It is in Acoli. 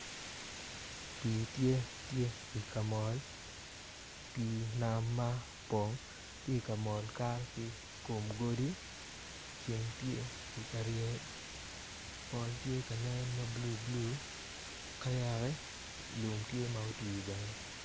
Pii tye ka mol pii nam ma opong tye ka mol kato ki i kom godi ceng tye ka ryeny pol tye ka nen ma bulubulu ka yaka lum tye ma otwi bene.